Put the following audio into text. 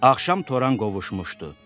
Axşam toran qovuşmuşdu.